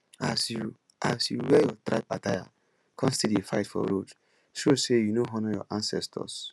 as you as you wear your tribe attire con still dey fight for road show say you no honour your ancestors